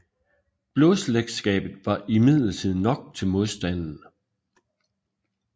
Blodsslægtskabet var imidlertid nok til modstanden